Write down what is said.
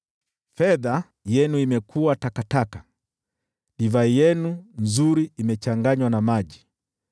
Fedha yenu imekuwa takataka, divai yenu nzuri imechanganywa na maji.